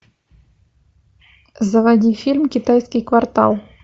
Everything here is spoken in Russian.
заводи фильм китайский квартал